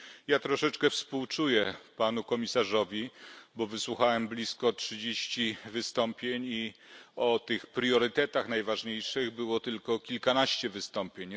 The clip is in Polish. Ja troszeczkę współczuję panu komisarzowi, bo wysłuchałem blisko trzydziestu wystąpień i o tych priorytetach najważniejszych było tylko kilkanaście wystąpień.